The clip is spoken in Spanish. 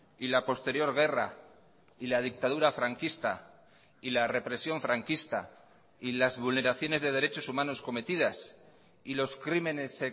y la posterior guerra y la dictadura franquista y la represión franquista y las vulneraciones de derechos humanos cometidas y los crímenes